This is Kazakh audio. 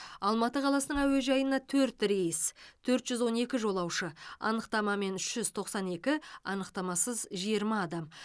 алматы қаласының әуежайына төрт рейс төрт жүз он екі жолаушы анықтамамен үш жүз тоқсан екі анықтамасыз жиырма адам